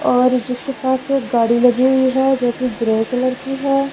और जिसके पास एक गाड़ी लगी हुई है जोकि ग्रे कलर की है।